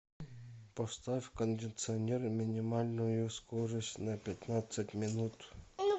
поставь кондиционер минимальную скорость на пятнадцать минут